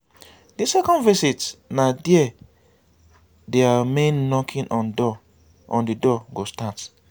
di second visit na dia di main knocking on di door go start